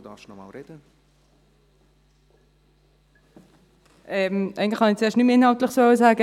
Eigentlich wollte ich zuerst nichts Inhaltliches mehr sagen.